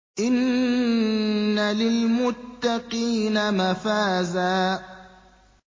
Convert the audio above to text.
إِنَّ لِلْمُتَّقِينَ مَفَازًا